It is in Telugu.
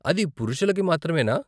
అది పురుషులకి మాత్రమేనా?